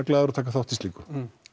glaður að taka þátt í slíku